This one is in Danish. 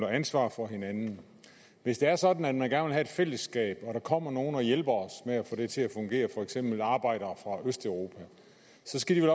og ansvar for hinanden hvis det er sådan at have et fællesskab og der kommer nogle og hjælper os med at få det til at fungere for eksempel arbejdere fra østeuropa så skal de